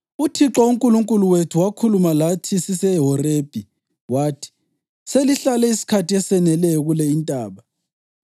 “ UThixo uNkulunkulu wethu wakhuluma lathi siseHorebhi wathi, ‘Selihlale isikhathi eseneleyo kule intaba.